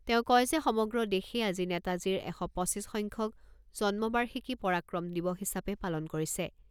তেওঁ কয় যে সমগ্ৰ দেশে আজি নেতাজীৰ এশ পঁচিছ সংখ্যক জন্মবাৰ্ষিকী পৰাক্ৰম দিৱস হিচাপে পালন কৰিছে।